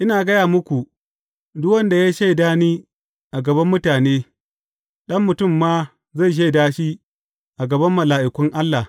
Ina gaya muku, duk wanda ya shaida ni a gaban mutane, Ɗan Mutum ma zai shaida shi a gaban mala’ikun Allah.